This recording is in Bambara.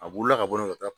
A wolola ka bɔ yen ka taa